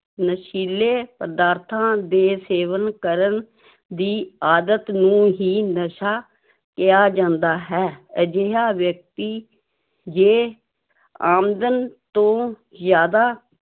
ਨਸ਼ੀਲੇ ਪਦਾਰਥਾਂ ਦੇ ਸੇਵਨ ਕਰਨ ਦੀ ਆਦਤ ਨੂੰ ਹੀ ਨਸ਼ਾ ਕਿਹਾ ਜਾਂਦਾ ਹੈ ਅਜਿਹਾ ਵਿਅਕਤੀ ਜੇ ਆਮਦਨ ਤੋਂ ਜ਼ਿਆਦਾ